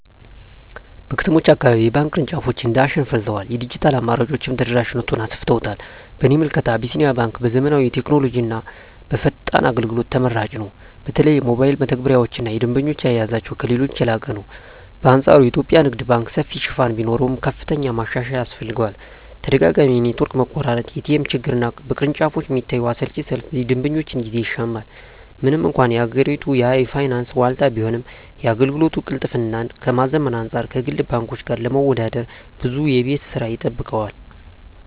በከተሞች አካባቢ የባንክ ቅርንጫፎች እንደ አሸን ፈልተዋል፤ የዲጂታል አማራጮችም ተደራሽነቱን አሰፍተውታል። በእኔ ምልከታ አቢሲኒያ ባንክ በዘመናዊ ቴክኖሎጂና በፈጣን አገልግሎት ተመራጭ ነው። በተለይ የሞባይል መተግበሪያቸውና የደንበኛ አያያዛቸው ከሌሎች የላቀ ነው። በአንፃሩ የኢትዮጵያ ንግድ ባንክ ሰፊ ሽፋን ቢኖረውም፣ ከፍተኛ ማሻሻያ ያስፈልገዋል። ተደጋጋሚ የኔትወርክ መቆራረጥ፣ የኤቲኤም ችግርና በቅርንጫፎች የሚታየው አሰልቺ ሰልፍ የደንበኞችን ጊዜ ይሻማል። ምንም እንኳን የሀገሪቱ የፋይናንስ ዋልታ ቢሆንም፣ የአገልግሎት ቅልጥፍናን ከማዘመን አንፃር ከግል ባንኮች ጋር ለመወዳደር ብዙ የቤት ሥራ ይጠብቀዋል።